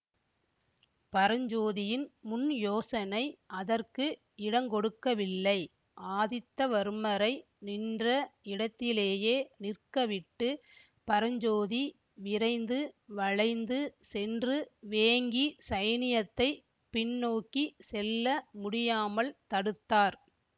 பரஞ்சோதியின் முன்யோசனை அதற்கு இடங்கொடுக்கவில்லை ஆதித்தவர்மரை நின்ற இடத்திலேயே நிற்கவிட்டுப் பரஞ்சோதி விரைந்து வளைந்து சென்று வேங்கி சைனியத்தை பின்னோக்கி செல்ல முடியாமல் தடுத்தார்